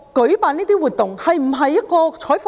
這項活動是否一項採訪？